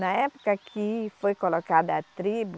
Na época que foi colocada a tribo,